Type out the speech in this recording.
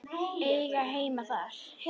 Eiga heima þar.